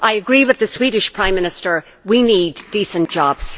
I agree with the Swedish Prime Minister we need decent jobs.